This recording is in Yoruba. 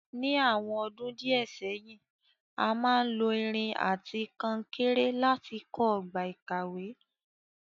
Ní àwon odún kan sẹ́hìn, a máa n lo irin àti kankéré láti kó ogbà ìkàwé